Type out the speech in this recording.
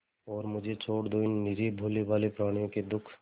और मुझे छोड़ दो इन निरीह भोलेभाले प्रणियों के दुख